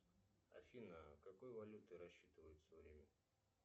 афина какой валютой рассчитываются в риме